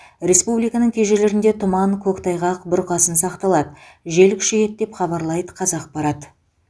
республиканың кей жерлерінде тұман көктайғақ бұрқасын сақталады жел күшейеді деп хабарлайды қазақпарат